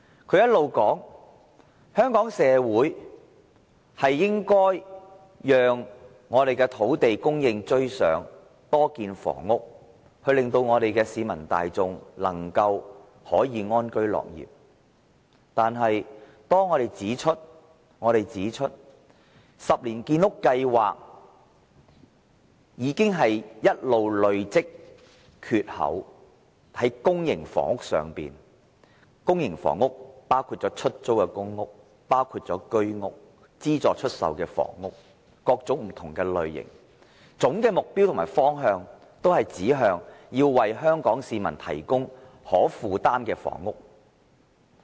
他一直說香港社會應讓土地供應趕上需求，要多建房屋，讓市民大眾安居樂業，但當我們指出10年建屋計劃已累積缺口，在公營房屋包括出租公屋、居屋、資助出售的房屋等各種不同類型，總的目標和方向均指向要為香港市民提供可負擔的房屋。